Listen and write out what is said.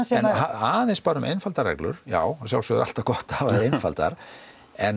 aðeins bara um einfaldar reglur já að sjálfsögðu alltaf gott að hafa þær einfaldar en